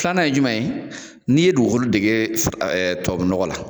Filanan ye juman ye , n'i ye dugukolo dege tubabu nɔgɔ la